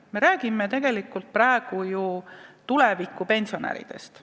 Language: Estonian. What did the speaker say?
Me räägime praegu tegelikult tuleviku pensionäridest.